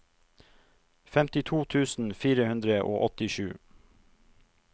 femtito tusen fire hundre og åttisju